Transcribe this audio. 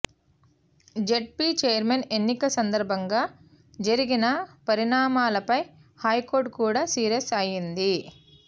ZP chairman ఎన్నిక సందర్భంగా జరిగిన పరిణామాలపై హైకోర్టు కూడా సీరియస్ అయింది